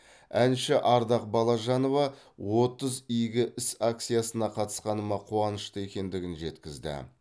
әнші ардақ балажанова отыз игі іс акциясына қатысқаныма қуанышты екендігін жеткізді